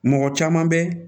Mɔgɔ caman bɛ